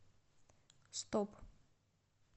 стоп